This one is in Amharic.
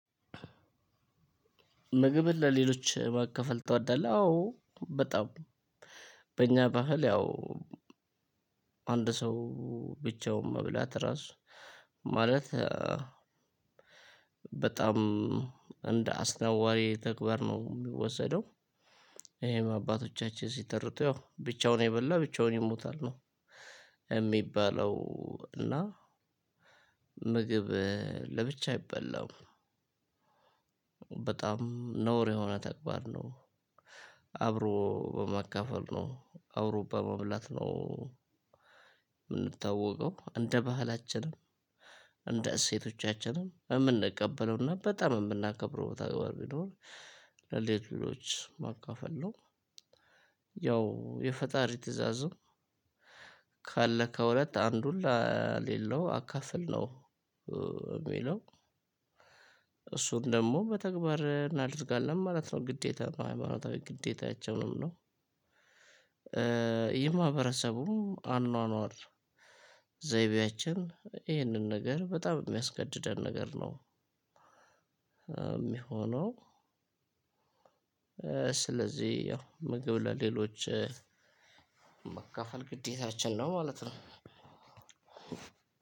ምግብን ለሌሎች ማካፈል ትወዳለህ? አዎ በጣም በእኛ ባህል ያው አንድ ሰው ብቻውን መብላት ራሱ ማለት በጣም እንደ አስናዋሪ ተግባር ነው የሚወሰደው። ይሄም አባቶቻችን ሲተርቱ ያው ብቻውን የበላ ብቻውን ይሞታል ነው የሚባለው። እና ምግብ ለብቻ አይበላም በጣም ነውር የሆነ ተግባር ነው። አብሮ በማካፈል ነው አብሮ በመብላት ነው። የምንታወቀው እንደ ባህላችንም እንደ እሴቶቻችንም የምንቀበለውና በጣም የምናከብረው ተግባር ቢኖር ለሌሎች ማካፈል ነው። ያው የፈጣሪ ትእዛዙ ካለህ ከሁለት አንዱን ለሌለው አካፍል ነው። የሚለው እሱን ደግሞ በተግባር እናደርጋለን ማለት ነው። ግዴታ ነው ሃይማኖታዊ ግዴታችን ነው። እና የማህበረሰቡ አኗኗር ዘይቤያችን ይህንን ነገር በጣም የሚያስገድደን ነገር ነው። የሚሆነው። ስለዚህ ያው ምግብ ለሌሎች ማካፈል ግዴታችን ነው ማለት ነው።